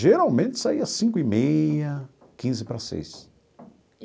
Geralmente saía cinco e meia, quinze para seis.